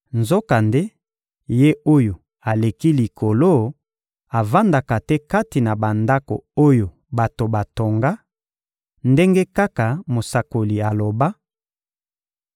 Nzokande, Ye-Oyo-Aleki-Likolo avandaka te kati na bandako oyo bato batonga, ndenge kaka mosakoli aloba: